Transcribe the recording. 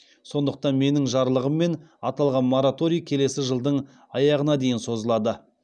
сондықтан менің жарлығыммен аталған мораторий келесі жылдың аяғына дейін созылады